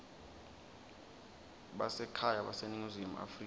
basekhaya baseningizimu afrika